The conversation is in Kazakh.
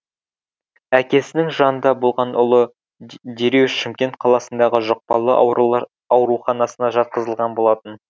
әкесінің жанында болған ұлы дереу шымкент қаласындағы жұқпалы аурулар аурханасына жатқызылған болатын